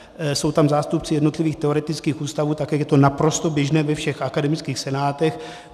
Jsou tam zástupci jednotlivých teoretických ústavů, tak jak je to naprosto běžné ve všech akademických senátech.